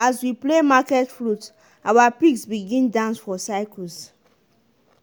as we play market flute our pigs begin dance for circles.